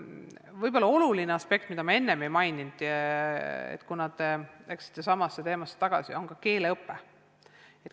Võib-olla veel üks oluline aspekt, mida ma enne ei maininud, on keeleõpe.